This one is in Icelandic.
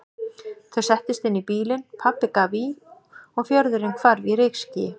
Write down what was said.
Þau settust inn í bílinn, pabbi gaf í og fjörðurinn hvarf í rykskýi.